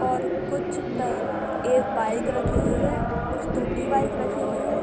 और कुछ टग एक बाइक रखी हुई है। कुछ टूटी बाइक रखी हुई है।